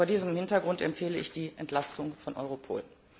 Vor diesem Hintergrund empfehle ich die Entlastung von Europol.